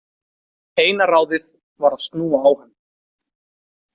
Eina ráðið var að snúa á hann.